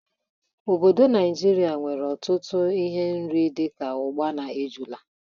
Obodo Naijiria nwere ọtụtụ ihe oriri dị ka ọgba na ejula.